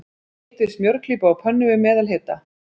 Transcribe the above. Hitið smjörklípu á pönnu, við meðalhita.